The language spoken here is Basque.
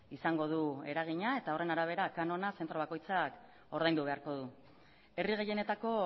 izango du eragina eta horren arabera kanona zentro bakoitzak ordaindu beharko du herri gehienetako